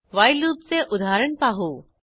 while लूपचे उदाहरण पाहू